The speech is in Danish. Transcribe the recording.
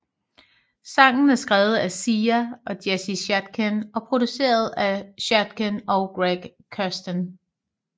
Sangen er skrevet af Sia og Jesse Shatkin og produceret af Shatkin og Greg Kurstin